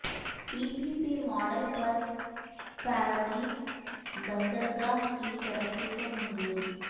پی P P model پر پارادیپ بندرگاہ کی ترقی کو منظوری